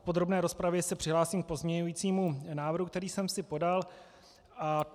V podrobné rozpravě se přihlásím k pozměňujícímu návrhu, který jsem si podal.